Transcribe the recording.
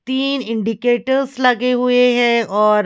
तीन इंडिकेटर्स लगे हुए हैं और--